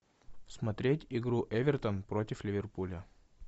смотреть игру эвертон против ливерпуля